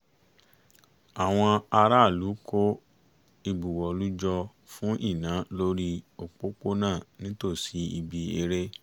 àwọn aráàlú kó ìbuwọ́lù jọ fún iná lórí òpópónà nítòsí ibi eré